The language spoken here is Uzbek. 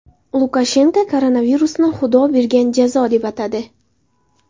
Lukashenko koronavirusni Xudo bergan jazo deb atadi.